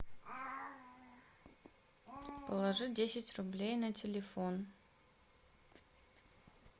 положи десять рублей на телефон